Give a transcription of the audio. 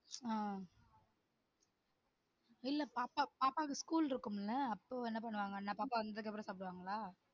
ஆஹ் இல்ல பாப்பா பாப்பாவுக்கு ஸ்கூல் இருக்கும்ல அப்போ என்ன பண்ணுவாங்கன்னா பாப்பா வந்ததுக்கு அப்புறம் சாப்டுவாங்களா?